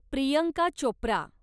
Priyanka Chopra